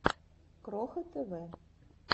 кроха тв